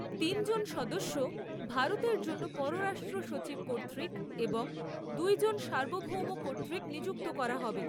তিনজন সদস্য ভারতের জন্য পররাষ্ট্র সচিব কর্তৃক এবং দুইজন সার্বভৌম কর্তৃক নিযুক্ত করা হবে।